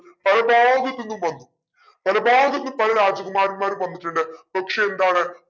പല ഭാഗത്തിന്നും വന്നു പല ഭാഗത്തിന്നും പല രാജകുമാരന്മാർ വന്നിട്ടുണ്ട്. പക്ഷെ എന്താണ്